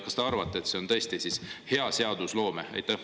Kas te arvate, et see on tõesti hea seadusloome?